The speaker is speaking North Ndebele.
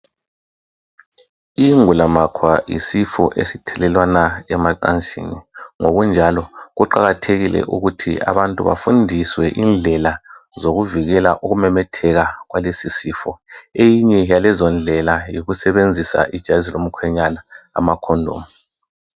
Ingulamakhwa yisifo esithelelwana emacansini. Ngokunjalo kuqakathekile ukuthi abantu bafundiswe indlela zokuvikela ukumemetheka kwalesisifo. Eyinye yalezindlela yikusebenzisa ijazi lomkhwenyana, amakhondomu.